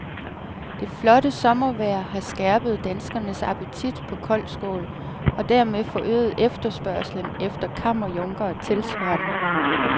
Det flotte sommervejr har skærpet danskernes appetit på koldskål, og dermed forøget efterspørgslen efter kammerjunkere tilsvarende.